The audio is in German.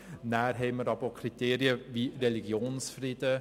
Dann haben wir aber auch Kriterien wie den Religionsfrieden.